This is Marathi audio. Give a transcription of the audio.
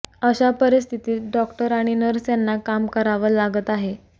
अशा परिस्थितीत डॉक्टर आणि नर्स यांना काम करावं लागत आहे